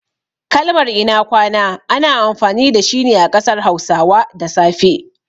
Kalmar "ina kwana" ana amfani dashi ne a ƙasar hausawa da safe.